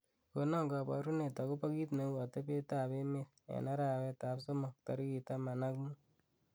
konon koborunet agopo kiit neu atebet ab emeet en arawet ab somok tarigit taman ak muut